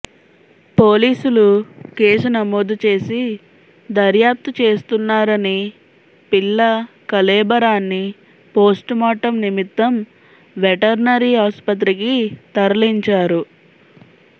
పోలీసులు కేసు నమోదు చేసి దర్యాప్తు చేస్తున్నారని పిల్ల కళేబరాన్ని పోస్టుమార్టమ్ నిమిత్తం వెటర్నరీ ఆస్పత్రికి తరలించారు